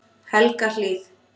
Helgahlíð